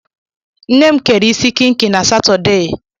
Nne m kere isi kịnkị na Satọdee.